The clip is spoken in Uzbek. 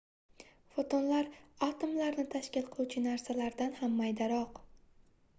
fotonlar atomlarni tashkil qiluvchi narsalardan ham maydaroq